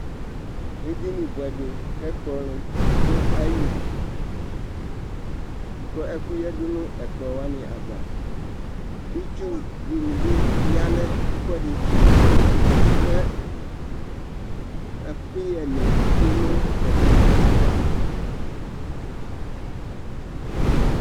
eɗɩnɩɓʊɛɗɩ lanʊtɛ ɛƙplɔ lɛnʊ aƴɩlɩ ɛƙʊnɩƴaɗʊ nʊ aƴaʋa ɗʊnʊ ɛƙʊƴɛ, ɩtsʊnɩɓɩƴanʊ ɛƒʊɓene